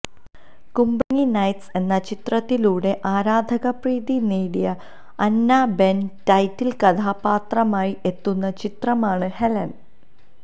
കുമ്പളങ്ങി നൈറ്റ്സ് എന്ന ചിത്രത്തിലൂടെ ആരാധക പ്രീതി നേടിയ അന്ന ബെന് ടൈറ്റില് കഥാപാത്രമായി എത്തുന്ന ചിത്രമാണ് ഹെലന്